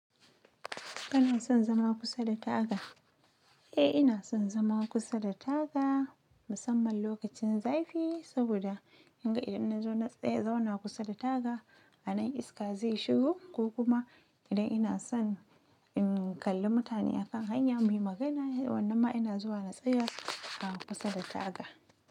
Kana son zama kusa da taga? Eh ina son zama kusa da taga, musamman lokacin zafi, saboda in ga idan na zauna tsaye, zauna kusa da taga, a nan iska zai shigo ko kuma idan ina son in kalli mutane akan hanya mu yi magana, wannan ma ina zuwa na tsaye a kusa da taga.